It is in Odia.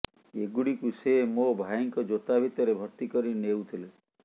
ଏଗୁଡିକୁ ସେ ମୋ ଭାଇଙ୍କ ଜୋତା ଭିତରେ ଭର୍ତ୍ତି କରି ନେଉଥିଲେ